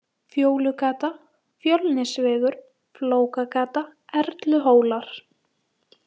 Fjólugata, Fjölnisvegur, Flókagata, Erluhólar